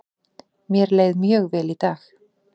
Mér leið mjög vel í dag.